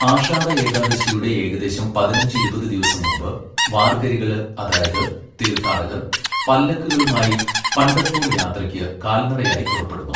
ആഷാഢ ഏകാദശിയുടെ ഏകദേശം പതിനഞ്ച്, ഇരുപത് ദിവസം മുമ്പ് വാർകരികള് അതായത് തീർഥാടകർ പല്ലക്കുകളുമായി പംഢർപൂർ യാത്രക്ക് കാല്നടയായി പുറപ്പെടുന്നു.